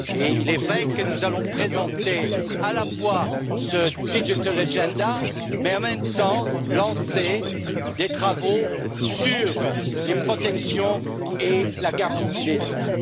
Il est vrai que nous allons présenter à la fois ce digital agenda et, en même temps, lancer des travaux sur les protections et la garantie des droits.